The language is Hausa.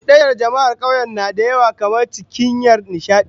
Cudanyar jama'ar kauye na da yawa kamar cinikayya da nishadi